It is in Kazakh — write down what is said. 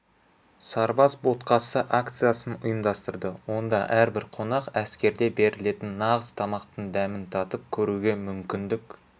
сарбаз ботқасы акциясын ұйымдастырды онда әрбір қонақ әскерде берілетін нағыз тамақтың дәмін татып көруге мүмкіндік